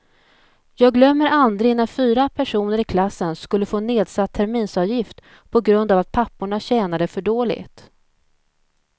Jag glömmer aldrig när fyra personer i klassen skulle få nedsatt terminsavgift på grund av att papporna tjänade för dåligt.